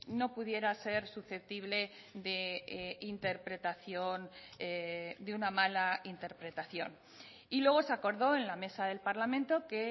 no pudiera ser susceptible de interpretación de una mala interpretación y luego se acordó en la mesa del parlamento que